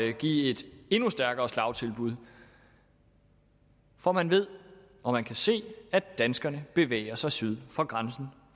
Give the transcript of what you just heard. at give et endnu stærkere slagtilbud for man ved og man kan se at danskerne bevæger sig syd for grænsen